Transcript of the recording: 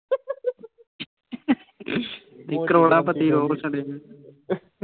ਕਰੋੜਾ ਪਤੀ ਰੋੜ੍ਹ ਸੁੱਟੇ